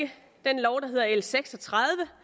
med hedder l seks og tredive